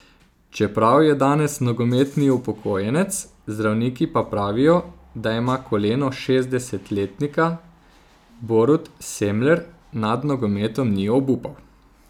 Čeprav je danes nogometni upokojenec, zdravniki pa pravijo, da ima koleno šestdesetletnika, Borut Semler nad nogometom ni obupal.